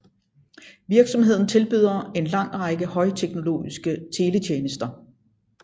Virksomheden tilbyder en lang række højteknologiske teletjenester